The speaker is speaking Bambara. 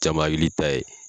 Caman hakili ta ye